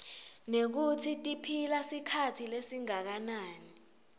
nekutsi tiphila sikhatsi lesinganani